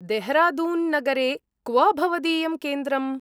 देहरादून्नगरे क्व भवदीयं केन्द्रम्?